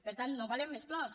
per tant no volem més plors